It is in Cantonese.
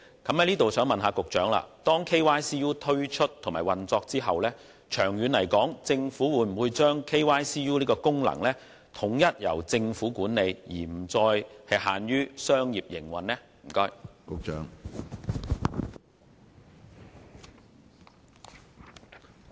我想問局長，在 KYCU 推出運作後，政府會否把 KYCU 的功能統一由其管理，而不再由商業營運？